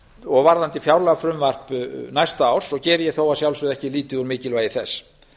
og varðandi fjárlagafrumvarp næsta árs geri ég þó að sjálfsögðu ekki lítið úr mikilvægi þess